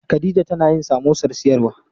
Khadija tana yin samosar siyarwa.